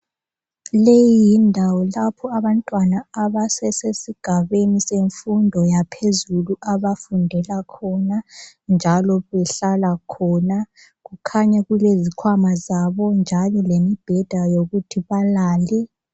Leyi yindawo lapho abantwana abasesigabeni semfundo yaphezulu abafundela khona njalo behlala khona kukhanya kulezikhwama zabo njalo lombheda wokuthi balale.